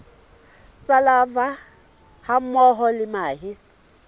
tsa larvae hammoho le mahe